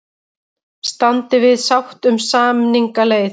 Standi við sátt um samningaleið